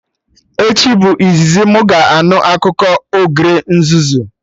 Echi bụ izizi mụ ga-anụ akụkọ ogre nzuzu